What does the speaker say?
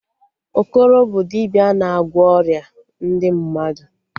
Okoro bụ dibịa na-agwọ ọrịa ndị mmadụ